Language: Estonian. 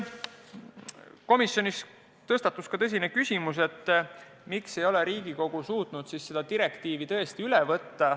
Komisjonis tõstatus ka tõsine küsimus, miks ei ole Riigikogu suutnud siis neid direktiivi artikleid üle võtta.